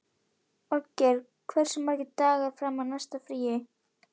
Olgeir, hversu margir dagar fram að næsta fríi?